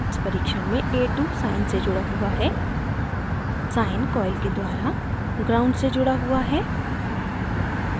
इस परीक्षण में a2 sine से जुड़ा हुआ है sine coil के द्वारा ground gnd से जुड़ा हुआ है